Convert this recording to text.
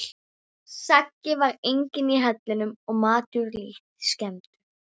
Saggi var enginn í hellinum og matur lítt skemmdur.